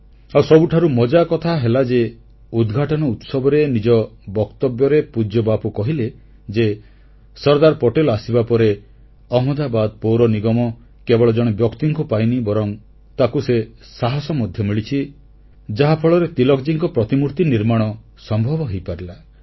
ଆଉ ସବୁଠାରୁ ମଜାକଥା ହେଲା ଯେ ଉଦ୍ଘାଟନ ଉତ୍ସବରେ ନିଜ ବକ୍ତବ୍ୟରେ ପୂଜ୍ୟ ବାପୁ କହିଲେ ଯେ ସର୍ଦ୍ଦାର ପଟେଲ ଆସିବା ପରେ ଅହମଦାବାଦ ପୌର ନିଗମ କେବଳ ଜଣେ ବ୍ୟକ୍ତିଙ୍କୁ ପାଇନି ବରଂ ତାକୁ ସେ ସାହସ ମଧ୍ୟ ମିଳିଛି ଯାହାଫଳରେ ତିଳକଜୀଙ୍କ ପ୍ରତିମୂର୍ତି ନିର୍ମାଣ ସମ୍ଭବ ହୋଇପାରିଲା